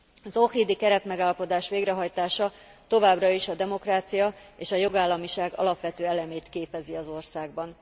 Az ohridi keretmegállapodás végrehajtása továbbra is a demokrácia és a jogállamiság alapvető elemét képezi az országban.